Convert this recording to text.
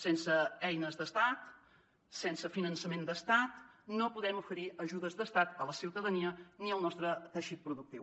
sense eines d’estat sense finançament d’estat no podem oferir ajudes d’estat a la ciutadania ni al nostre teixit productiu